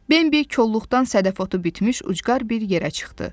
Bembi kolluqdan sədəf otu bitmiş ucqar bir yerə çıxdı.